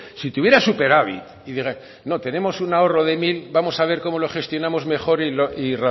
si tuviera superávit y no tenemos un ahorro de mil vamos a ver cómo lo gestionamos mejor y